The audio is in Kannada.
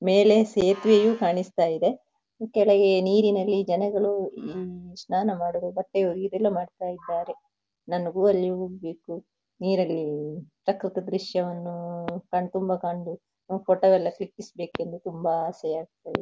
ಮೇಲೆ ಸೇತುವೆಯು ಕಾಣಿಸ್ತಾ ಇದೆ ಕೆಳಗೆ ನೀರಿನಲ್ಲಿ ಜನಗಳು ಆಂ ಸ್ನಾನ ಮಾಡೂದು ಬಟ್ಟೆ ಒಗಿಯುದು ಎಲ್ಲ ಮಾಡ್ತಾ ಇದ್ದಾರೆ ನನಗೂ ಅಲ್ಲಿ ಹೋಗ್ಬೇಕು ನೀರಲ್ಲಿ ಪ್ರಕ್ರತ ದೃಶ್ಯವನ್ನು ಕಾಣ್ಬೇಕು ಫೋಟೋವನ್ನು ಕ್ಲಿಕ್ಕಿಸಬೇಕು ಎಂದು ತುಂಬಾ ಆಸೆ ಆಗ್ತಾ ಇದೆ.